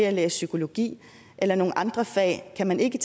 at læse psykologi eller nogle andre fag kan man ikke